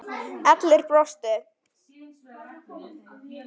Allir brostu.